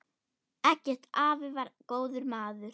Eggert afi var góður maður.